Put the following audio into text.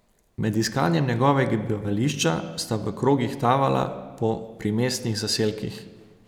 Med iskanjem njegovega bivališča sta v krogih tavala po primestnih zaselkih.